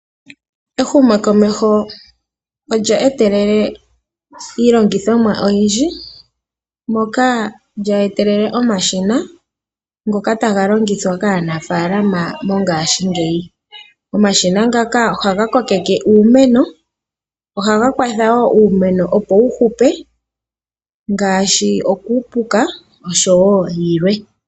Ehumokomeho olya etelela iilongithomwa oyindji moka lya etelela omashina ngoka taga longithwa kaanafalama mongashingeyi. Omashina ngaka ohaga kokeke uumeno ohaga kwathawo uumeno opo wu hupe ngaashi okuupuka oshowo yilwe.